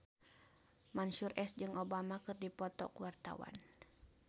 Mansyur S jeung Obama keur dipoto ku wartawan